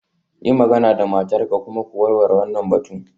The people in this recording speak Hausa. Yi magana da matarka kuma ku warware wannan batun.